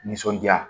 Nisɔndiya